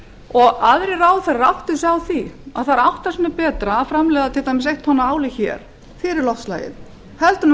og aðrir ráðherrar átti sig á því að það er átta sinnum betra að framleiða til dæmis eitt tonn af áli hér fyrir loftslagið heldur en